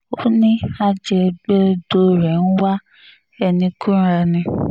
ó ní ajẹ̀gbẹdọ̀dọ̀ rẹ̀ ń wá ẹni kúnra ni